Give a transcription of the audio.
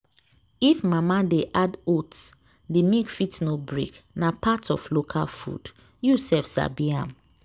if mama dey add oats the milk fit no break. na part of local food… you sef sabi am.